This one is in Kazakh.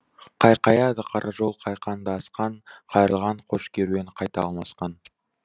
қайқаяды қара жол қайқаңды асқан қайырлаған көш керуен қайта алмасқан